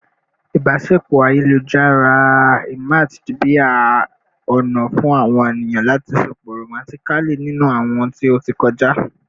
ibaṣepọ ayelujar emerged bi a ona fun awon eniyan lati sopọ romantically ninu awọn ti o ti kọja